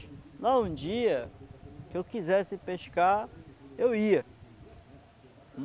Lá um dia que eu quisesse pescar, eu ia.